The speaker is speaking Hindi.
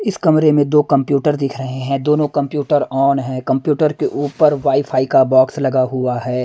इसकमरे में दो कंप्यूटर दिख रहे हैं दोनों कंप्यूटर ऑन है कंप्यूटर के ऊपर वाईफाई का बॉक्स लगा हुआ है।